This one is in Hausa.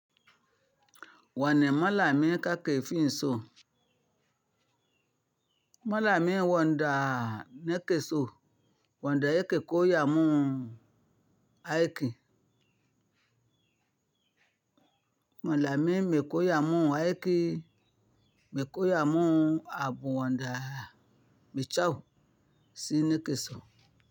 Wani malami kake fin so. Malami wanda neke so, wanda yake koya mun aiki. Malami mai koya mun aiki, mai koya mun abu wanda mai kyau shi nake so.